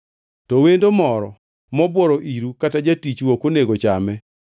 to wendo moro mobuoro iru kata jatichu ok onego chame.